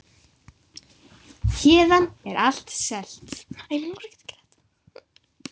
Héðan er allt selt.